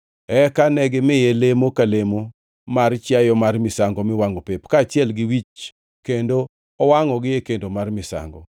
Eka negimiye lemo ka lemo mar chiayo mar misango miwangʼo pep kaachiel gi wich kendo owangʼogi e kendo mar misango.